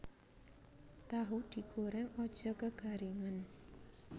Tahu digoreng aja kegaringen